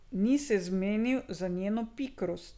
Ni se zmenil za njeno pikrost.